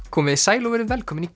komiði sæl og verið velkomin í